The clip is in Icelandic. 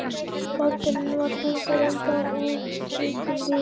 Báturinn var þungur, enda úr þykkum viði.